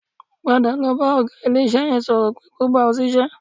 Padà lọ bá ọ̀gá ilé-iṣẹ́ yẹn sọ̀rọ̀ pé kó gbà ọ́ sí iṣẹ́